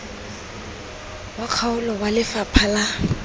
wa kgaolo wa lefapha la